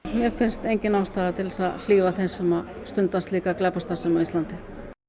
mér finnst engin ástæða til þess að hlífa þeim sem stunda slíka glæpastarfsemi á Íslandi